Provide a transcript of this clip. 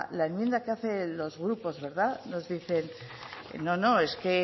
la enmienda que hacen los grupos verdad nos dicen no no es que